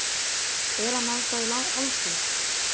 Er hann ennþá í haldi?